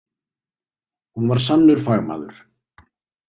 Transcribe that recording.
Hún var sannur fagmaður.